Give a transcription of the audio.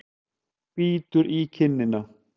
Bítur í kinnina.